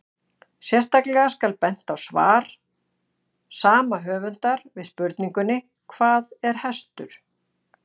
Sérstaklega skal bent á svar sama höfundar við spurningunni Hvað er hestur?